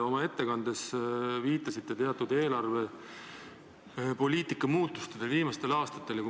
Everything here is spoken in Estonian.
Oma ettekandes te viitasite teatud eelarvepoliitika muutustele viimastel aastatel.